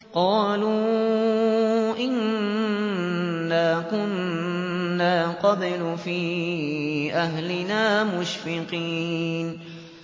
قَالُوا إِنَّا كُنَّا قَبْلُ فِي أَهْلِنَا مُشْفِقِينَ